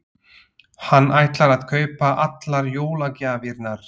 Hann ætlar að kaupa allar jólagjafirnar.